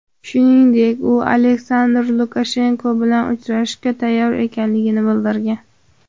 Shuningdek, u Aleksandr Lukashenko bilan uchrashishga tayyor ekanligini bildirgan.